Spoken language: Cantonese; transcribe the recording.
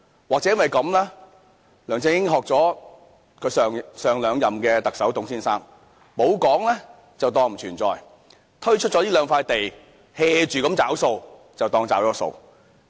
或者梁振英是模仿前兩屆特首董先生，沒有再說便當作不存在，推出了這兩塊土地，"住找數"便當作真的"找了數"。